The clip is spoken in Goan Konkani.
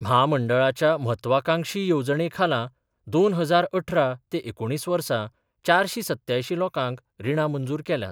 म्हामंडळाच्या म्हत्वाकांक्षी येवजणे खाला दोन हजार अठरा ते एकुणीस वर्सा चारशी सत्यांयशीं लोकांक रिणां मंजूर केल्यांत.